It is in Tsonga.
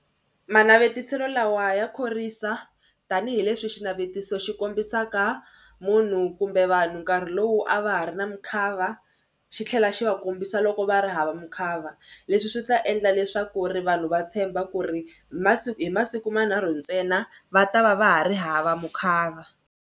Manavetiselo lawa ya khorwisa tanihileswi xinavetiso xi kombisaka munhu kumbe vanhu nkarhi lowu a va ha ri na mukhava xi tlhela xi va kombisa loko va ri hava mukhava. Leswi swi ta endla leswaku ri vanhu va tshemba ku ri masiku hi masiku manharhu ntsena va ta va va ha ri hava mukhava.